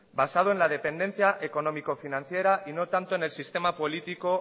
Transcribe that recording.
basado en la dependencia económico financiera y no tanto en el sistema político